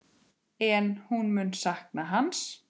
En hún mun sakna hans.